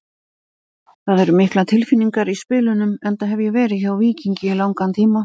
Það eru miklar tilfinningar í spilunum enda hef ég verið hjá Víkingi í langan tíma.